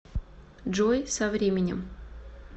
джой со временем